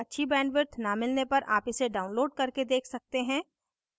अच्छी bandwidth न मिलने पर आप इसे download करके देख सकते हैं